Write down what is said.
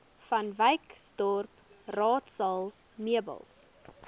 vanwyksdorp raadsaal meubels